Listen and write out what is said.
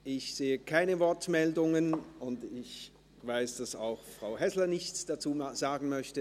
Ich sehe keine Wortmeldungen und weiss, dass auch Frau Häsler nichts dazu sagen möchte.